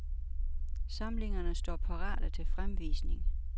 Samlingerne står parate til fremvisning.